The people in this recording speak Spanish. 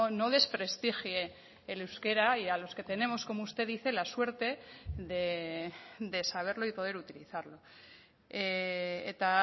no desprestigie el euskera y a los que tenemos como usted dice la suerte de saberlo y poder utilizarlo eta